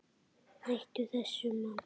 Hættu þessu, mamma!